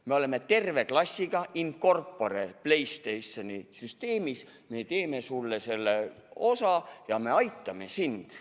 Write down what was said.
Me oleme terve klassiga in corpore PlayStationi süsteemis, me teeme sulle selle osa ja me aitame sind.